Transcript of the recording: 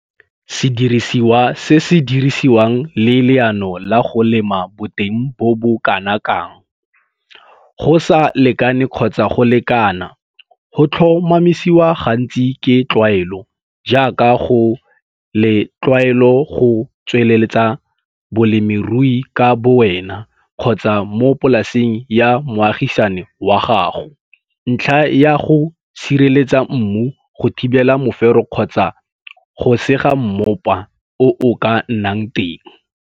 Sediriswa se se dirisiwang le leano la go lema boteng bo bo kana kang, go sa lekane kgotsa go lekana, go tlhomamisiwa gantsi ke tlwaelo, jaaka go le tlwaelo go tsweleletsa bolemirui ka bowena kgotsa mo polaseng ya moagisani wag ago, ntlha ya go sireletsa mmu, go thibela mofero kgotsa go sega mmopa o o ka nnang teng.